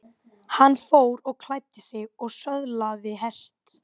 Hann fór og klæddi sig og söðlaði hest.